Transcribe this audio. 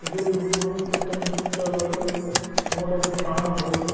ಇದು ಒಂದು ಹಳೆಯ ಕಾಲದ ಕೊಟೆ.